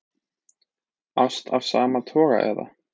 Ást af sama toga eða